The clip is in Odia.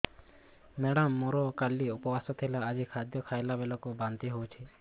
ମେଡ଼ାମ ମୋର କାଲି ଉପବାସ ଥିଲା ଆଜି ଖାଦ୍ୟ ଖାଇଲା ବେଳକୁ ବାନ୍ତି ହେଊଛି